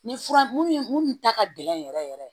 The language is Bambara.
Ni fura mun ta ka gɛlɛn yɛrɛ yɛrɛ yɛrɛ